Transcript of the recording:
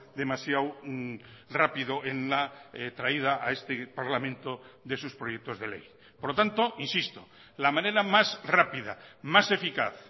demasiado rápido en la traída a este parlamento de sus proyectos de ley por lo tanto insisto la manera más rápida más eficaz